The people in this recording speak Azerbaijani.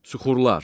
Süxurlar.